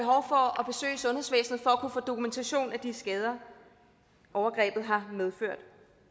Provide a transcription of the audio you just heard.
kunne få dokumentation for de skader overgrebet har medført